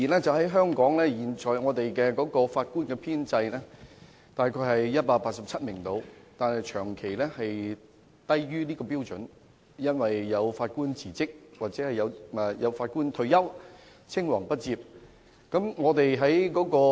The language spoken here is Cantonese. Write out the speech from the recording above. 儘管香港現時的法官編制約為187名，但實際數目卻長期低於這個標準，原因是有法官辭職或退休，以致出現青黃不接的問題。